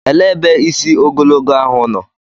Elee ebe isi ogologo ahụ nọ?